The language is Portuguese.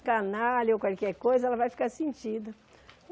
Canalha ou qualquer coisa, ela vai ficar sentida.